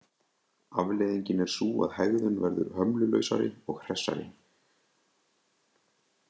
Afleiðingin er sú að hegðun verður hömlulausari og hressari.